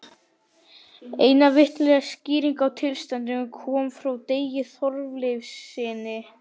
Eina vitlega skýringin á tilstandinu kom frá Degi Þorleifssyni.